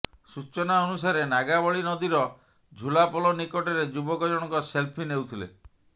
ସୂଚନା ଅନୁସାରେ ନାଗାବଳୀ ନଦୀର ଝୁଲାପୋଲ ନିକଟରେ ଯୁବକ ଜଣଙ୍କ ସେଲ୍ଫି ନେଉଥିଲେ